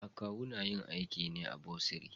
Akawu na yin aiki ne a bursary.